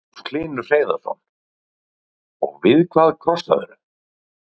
Magnús Hlynur Hreiðarsson: Og við hvað krossaðirðu?